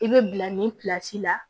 I bɛ bila nin la